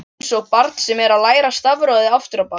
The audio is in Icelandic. Einsog barn sem er að læra stafrófið aftur á bak.